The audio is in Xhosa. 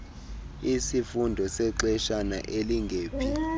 isifundo sexeshana elingephi